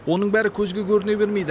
оның бәрі көзге көріне бермейді